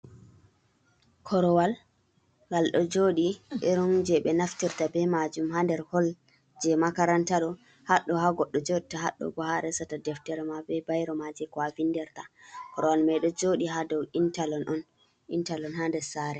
Korowal gal ɗo joɗi irum je ɓe naftirta be majum ha nder hol je makaranta ɗo, haɗɗo ha goɗɗo joɗata haɗɗo bo ha a resata deftere ma be bairo je ko a vinderta, korowal mai ɗo joɗi ha dow intalok ha nder saare.